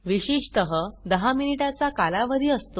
विशेषत 10 मिनिटा चा कालावधी असतो